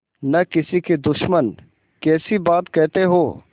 न किसी के दुश्मन कैसी बात कहते हो